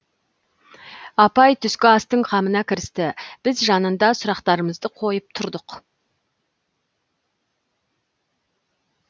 апай түскі астың қамына кірісті біз жанында сұрақтарымызды қойып тұрдық